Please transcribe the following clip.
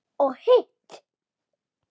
Og hitt?